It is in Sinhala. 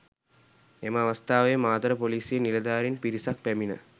එම අවස්ථාවේ මාතර පොලිසියේ නිලධාරින් පිරිසක් පැමිණ